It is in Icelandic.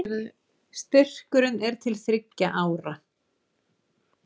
Styrkurinn er til þriggja ára